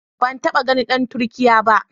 Ban taɓa ganin dan Turkiyya ba.